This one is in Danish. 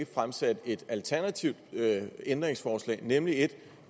fremsat et alternativt ændringsforslag nemlig et